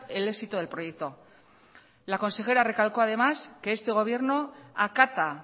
el éxito del proyecto la consejera recalcó además que este gobierno acata